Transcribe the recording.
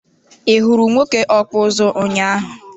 I hụrụ nwoke ọkpụ ụzụ ụnyaahụ?